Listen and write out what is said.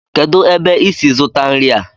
kedu ebe i si zụta nri a?